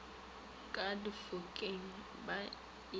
ka difokeng ba e beya